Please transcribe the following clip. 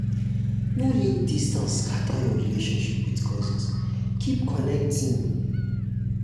no let distance um scatter your relationship with cousins; keep connecting.